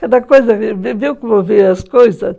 Cada coisa... Viu como veio as coisas?